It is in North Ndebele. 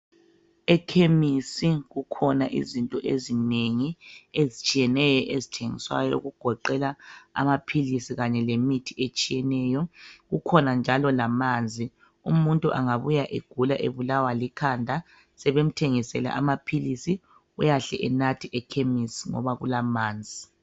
Ekhemisi kukhona izinto ezinengi ezitshiyeneyo ezithengiswayo okugoqela amaphilisi kanye lemithi etshiyeneyo .Kukhonanjalo lamanzi .Umuntu angabuya egula ebulawa likhanda sebemthengisele amaphilisi uyahle enathe ekhemisi ngoba kulamanzi.